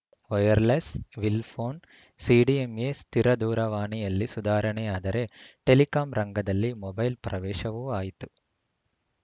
wireless ವಿಲ್‌ phone CDMA ಸ್ಥಿರ ದೂರವಾಣಿಯಲ್ಲಿ ಸುಧಾರಣೆಯಾದರೆ ಟೆಲಿಕಾಂ ರಂಗದಲ್ಲಿ ಮೊಬೈಲ್‌ ಪ್ರವೇಶವೂ ಆಯಿತು